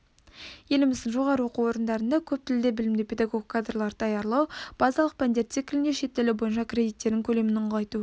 еліміздің жоғары оқу орындарында көптілді білімді педагог кадрларды даярлау базалық пәндер циклінде шет тілі бойынша кредиттердің көлемін ұлғайту